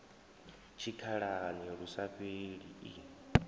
tshikhalani lu sa fheli i